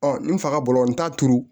n faga bolo n t'a turu